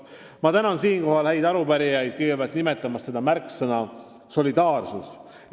" Ma tänan siinkohal häid arupärijaid nimetamast seda märksõna "solidaarsus"!